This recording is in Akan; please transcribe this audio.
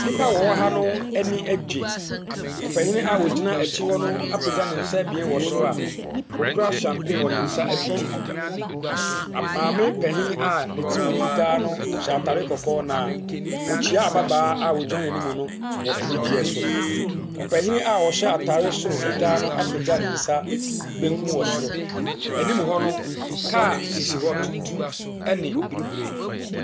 Nnipa a wɔwɔ ha no ani agye. Panin a ɔhyina akyire hɔ no apagya ne nsa ebien wɔ soro a ɔkura champaign wɔn ne nsa abien mu. Maame panyin a ne tiri ho fitaa no hyɛ atarekɔkɔɔ, na wokyia ababaawa a ɔgyina n'anim no wɔ anigyeɛ so. Ɔpanyin a ɔhyɛ atare soro fitaa no apagya ne nsa benkum wɔ soro. Anim hɔ no, car sisi hɔ. tuntum ne bibire.